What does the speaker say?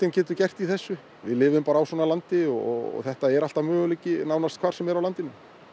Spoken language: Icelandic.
getur gert í þessu við lifum bara í svona landi og þetta er alltaf möguleiki nánast hvar sem er á landinu